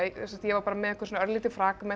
ég var með einhver örlítil